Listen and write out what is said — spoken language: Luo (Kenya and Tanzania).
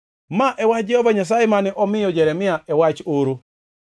Ma e wach Jehova Nyasaye mane omiyo Jeremia e wach oro: